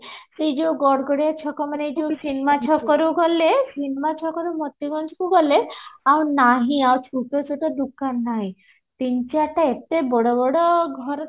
ସେ ଯୋଉ ଗଡଗଡିଆ ଛକ ମାନେ ଯୋଉଠୁ ସୀମା ଛକରୁ ଗଲେ ସୀମା ଛକରୁ ମୋତିଗଞ୍ଜ କୁ ଗଲେ ଆଉ ନାହିଁ ଆଉ ଛୁଟ ଛୁଟ ଦୋକାନ ନାହିଁ ତିନି ଚାରିଟା ଏତେ ବଡ ବଡ ଘର